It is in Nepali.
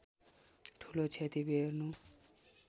ठूलो क्षति बेहोर्नु